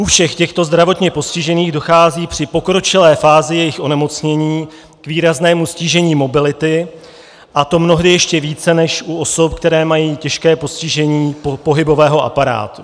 U všech těchto zdravotně postižených dochází při pokročilé fázi jejich onemocnění k výraznému ztížení mobility, a to mnohdy ještě více než u osob, které mají těžké postižení pohybového aparátu.